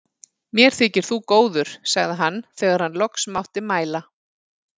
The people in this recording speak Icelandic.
Mér þykir þú góður, sagði hann þegar hann loks mátti mæla.